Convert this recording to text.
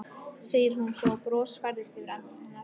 segir hún svo og bros færist yfir andlit hennar.